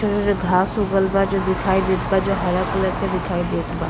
त घास उगल बा जो दिखाई देत बा जो हरा कलर के दिखाई देत बा।